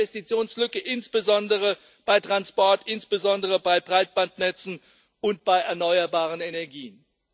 Wir haben eine Investitionslücke insbesondere bei Transport, insbesondere bei Breitbandnetzen und bei erneuerbaren Energien.